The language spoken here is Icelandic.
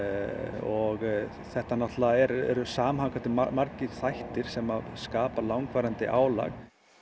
og þetta eru samhangandi margir þættir sem skapa langvarandi álag